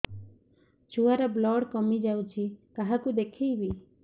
ଛୁଆ ର ବ୍ଲଡ଼ କମି ଯାଉଛି କାହାକୁ ଦେଖେଇବି